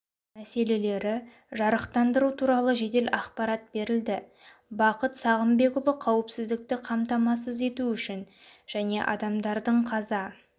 мәселелері жарықтандыру туралы жедел ақпарат берілді бақыт сағынбекұлы қауіпсіздікті қамтамасыз ету үшін және адамдардың қаза